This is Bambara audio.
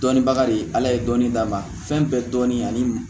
Dɔnnibaga de ye ala ye dɔnni d'a ma fɛn bɛɛ dɔnni ani